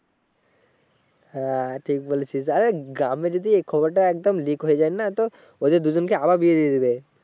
হ্যাঁ ঠিক বলেছিস আরে গ্রামে যদি এ খবরটা একদম লিক হয়ে যায় না তো ওদের দুইজনকে আবার বিয়ে দিয়ে দিবে